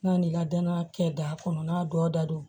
N'an ni ladana kɛ da kɔnɔ n'a dɔ da don